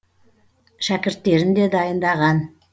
шәкірттерін де дайындаған